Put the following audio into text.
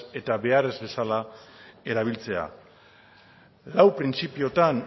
eta behar ez bezala erabiltzea lau printzipiotan